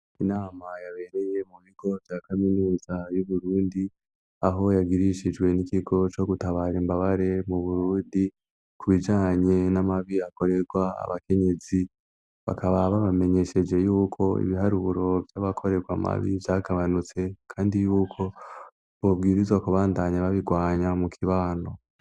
Inama yabereye mu bigo vya kaminuza y'Uburundi aho yagirishijwe n'ikigo co gutabara imbabare mu Burundi ku bijanye n'amabi akorerwa abakenyezi. Bakaba babamenyesheje y'uko ibiharuro by'abakorerwa amabi vyagabanutse kandi yuko bubwirizwa kubandanya babigwanya mu kibano.